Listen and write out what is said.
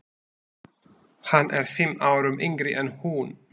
Hann er fimm árum yngri en hún.